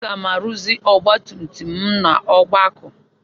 Aga m arụzi ọgbatumtum m n'Ọgbakụ.